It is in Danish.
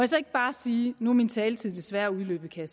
så ikke bare sige nu er min taletid desværre udløbet kan